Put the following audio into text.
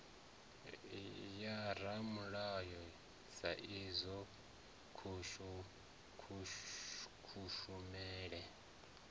ya ramulayo sa idzwo kushumele